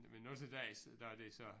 Men også der i når det så